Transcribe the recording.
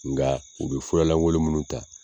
Nka u bɛ furalankon minnu ta.